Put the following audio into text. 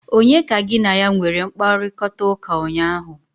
Onye ka gị na ya nwere mkparịkọtaụka ụnyaahụ?